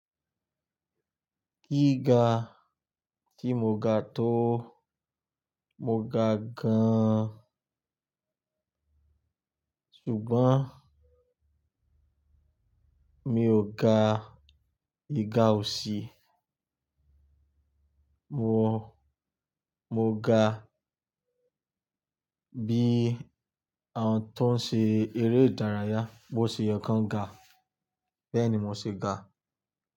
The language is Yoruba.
Gíga tí mo ga tó, mo ga gan-an ṣùgbọ́n mi ò ga ìga òsì. Mo, mo ga bí àwọn tó ń ṣe eré ìdárayá, bó ṣe yànkan ga bẹ́ẹ̀ ni mo ṣe ga.